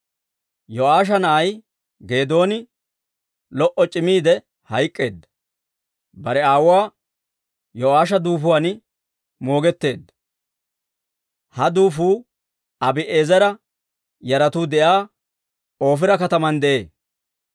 Yo'aasha na'ay Geedooni lo"o c'imiide hayk'k'eedda; bare aawuwaa Yo'aasha duufuwaan moogetteedda. Ha duufuu Abi'eezera yaratuu de'iyaa Oofira kataman de'ee.